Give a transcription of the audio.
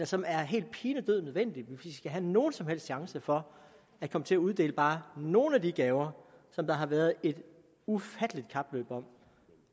som er helt pinedød nødvendig hvis vi skal have nogen som helst chance for at komme til at uddele bare nogle af de gaver som der har været et ufatteligt kapløb om